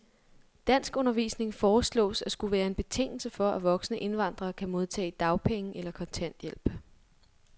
Danskundervisning foreslås at skulle være en betingelse for, at voksne indvandrere kan modtage dagpenge eller kontanthjælp.